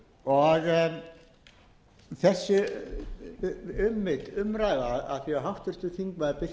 á undanförnum tveim áratugum af því að háttvirtur þingmaður birkir jón